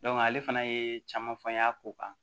ale fana ye caman fɔ n y'a ko kan